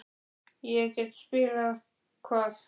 En ég get spilað-Hvað?